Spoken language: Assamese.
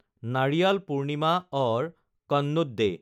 Nariyal Purnima or coconut day